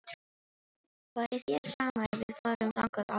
Væri þér sama ef við förum þangað aftur?-